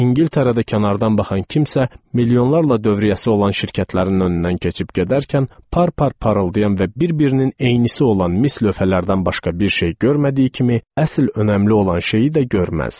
İngiltərədə kənardan baxan kimsə milyonlarla dövriyyəsi olan şirkətlərin önündən keçib gedərkən par-par parıldayan və bir-birinin eynisi olan mis lövhələrdən başqa bir şey görmədiyi kimi əsl önəmli olan şeyi də görməz.